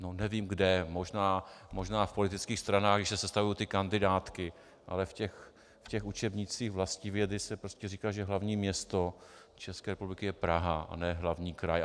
No nevím kde, možná v politických stranách, když se sestavují ty kandidátky, ale v těch učebnicích vlastivědy se prostě říká, že hlavní město České republiky je Praha a ne hlavní kraj.